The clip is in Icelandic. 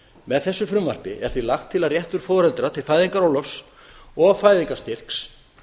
með frumvarpi þessu er því lagt til að réttur foreldra til fæðingarorlofs og fæðingarstyrks